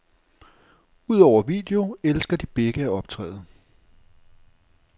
Udover video elsker de begge at optræde.